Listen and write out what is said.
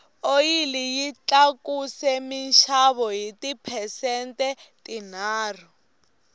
oyili yi tlakuse minxavo hi ti phesente tinharhu